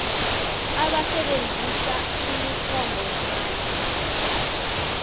abasebenzisa imithombo yamandla